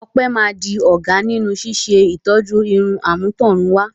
Ope máa di ọ̀gá nínú ṣíṣe ìtọ́jú irun àmútọ̀runwá.